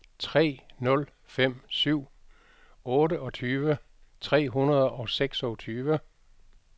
tre nul fem syv otteogtyve tre hundrede og seksogtyve